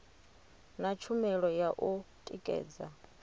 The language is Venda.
na tshumelo ya u tikedza